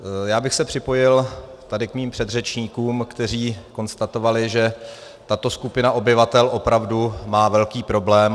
Já bych se připojil tady k mým předřečníkům, kteří konstatovali, že tato skupina obyvatel opravdu má velký problém.